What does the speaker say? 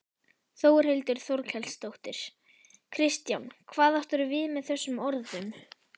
Þórhildur Þorkelsdóttir: Kristján hvað áttirðu við með þessum orðum?